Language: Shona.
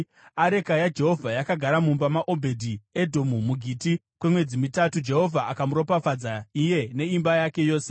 Areka yaJehovha yakagara mumba maObhedhi-Edhomu muGiti kwemwedzi mitatu, Jehovha akamuropafadza, iye neimba yake yose.